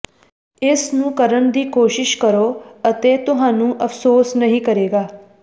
ਇਸ ਨੂੰ ਕਰਨ ਦੀ ਕੋਸ਼ਿਸ਼ ਕਰੋ ਅਤੇ ਤੁਹਾਨੂੰ ਅਫ਼ਸੋਸ ਨਹੀ ਕਰੇਗਾ